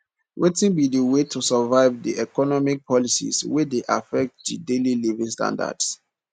wetin be di way to survive di economic policies wey dey affect di daily living standards